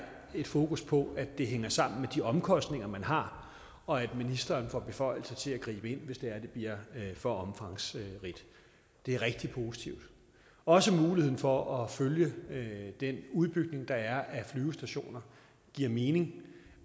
et fokus på at det hænger sammen med de omkostninger man har og at ministeren får beføjelser til at gribe ind hvis det bliver for omfangsrigt det er rigtig positivt også muligheden for at følge den udbygning der er af flyvestationer giver mening